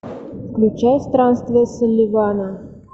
включай странствия салливана